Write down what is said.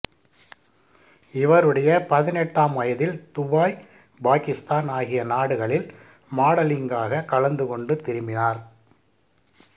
இவருடைய பதினெட்டாம் வயதில் துபாய் பாக்கிஸ்தான் ஆகிய நாடுகளில் மாடலிங்காக கலந்துகொண்டு திரும்பினார்